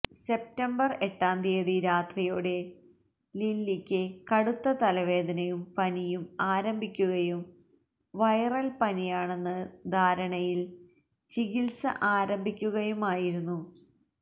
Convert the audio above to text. September എട്ടാം തീയതി രാത്രിയോടെ ലിലിക്ക് കടുത്ത തലവേദനയും പനിയും ആരംഭിക്കുകയും വൈറല് പനിയാണെന്ന ധാരണയില് ചികിത്സ ആരംഭിക്കുകയുമായിരുന്നു